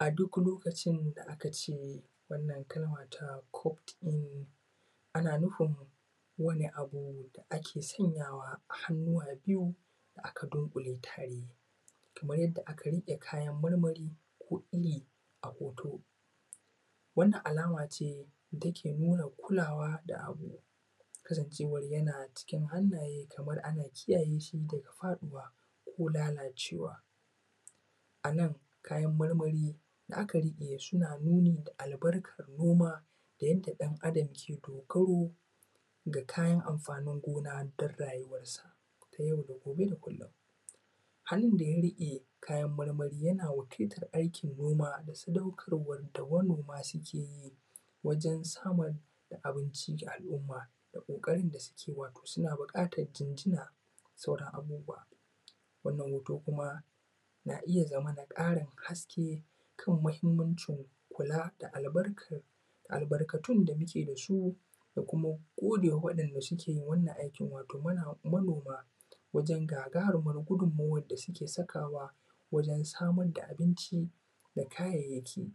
A duk lokacin da aka ce wannan kalma ta cuve in, ana nufin wani abu da ake sanyawa a hannuwa biyu aka dunƙule kamar yadda aka rike kayan marmari ko iri a hoto wannan alama ce da take nuna kula wa da abu cewar yana cikin hannaye kuma ana kiyaye shi daga faɗuwa ko lalacewa. Ana kayan marmari suna nuni akan noma da ɗan Adam ke dogaro da shi ga kayan amfanin gona don rayuwar sa ta yau da gobe da kullum hannun da ya riƙe kayan marmari yana wakiltar aikin noma da saɗaukarwar manoma suke yi wajen samar da abincin alumma da ƙoƙari da duke yi suna buƙatar jijina da sauran abubuwa. wannan hoto kuma na iya zama ƙarin haske na muhimmanci kula da albarkatun da muje da su Muna godewa waɗanda suke yin wannan aiki wato manoma da gudunmawar da suke saka wa wajen samar da abinci da kayayyaki.